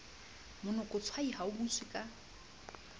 monokotshwai ha o butswe ka